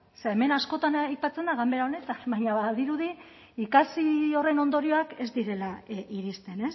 ze hemen askotan aipatzen da ganbera honetan baina badirudi ikasi horren ondorioak ez direla iristen